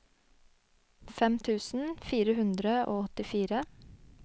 fem tusen fire hundre og åttifire